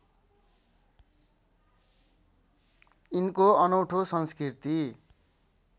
यिनको अनौँठो संस्कृति